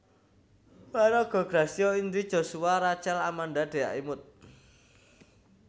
Paraga Gracia Indri Joshua Rachel Amanda Dhea Imut